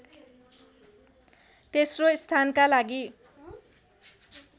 तेस्रो स्थानका लागि